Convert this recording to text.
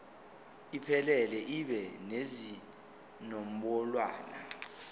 iphelele ibe nezinombolwana